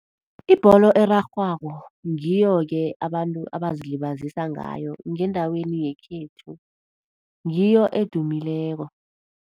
Ibholo erarhwako, ngiyoke abantu abazilibazise ngayo, ngendaweni yekhethu. Ngiyo edumileko.